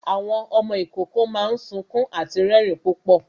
Àwọn ọmọ ìkókó máa ń sunkún àti rẹrin púpọ̀